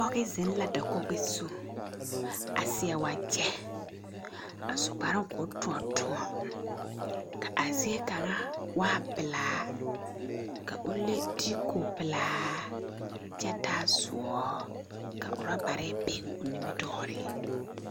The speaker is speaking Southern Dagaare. Pͻge zeŋe la dakogi zu a seԑ wagyԑ a su kparoo koo tõͻ tõͻ, ka a zie kaŋa waa pelaa ka o le diiku pelaa kyԑ taa sõͻ ka oorͻbare be o nimitͻͻreŋ.